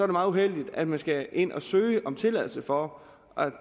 meget uheldigt at man skal ind og søge om tilladelse for at